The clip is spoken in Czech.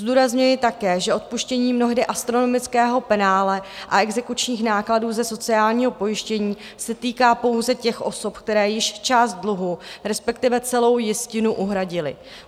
Zdůrazňuji také, že odpuštění mnohdy astronomického penále a exekučních nákladů ze sociálního pojištění se týká pouze těch osob, které již část dluhu, respektive celou jistinu, uhradily.